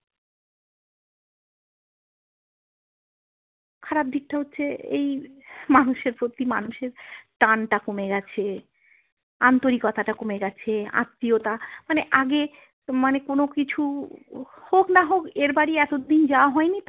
খারাপ দিকটা হচ্ছে এই মানুষের প্রতি মানুষের টানটা কমে গেছে আন্তরিকতাটা কমে গেছে আত্মীয়তা মানে আগে মানে কোনো কিছু হোক না হোক এর বাড়ি এতদিন যাওয়া হইনি তো।